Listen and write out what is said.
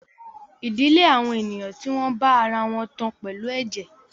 Ìdílé àwọn ènìyàn tí wọ́n bá ara wọn tán pẹ̀lú ẹ̀jẹ̀